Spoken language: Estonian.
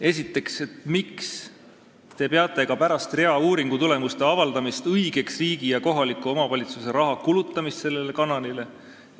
Esiteks, miks te peate ka pärast rea uuringutulemuste avaldamist õigeks riigi ja kohaliku omavalitsuse raha kulutamist sellele kanalile?